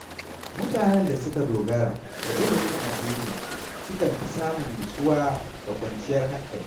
Mutanen da suka dogara da ilimin addini sukan fi samun nutsuwa da kwanciyar hankali.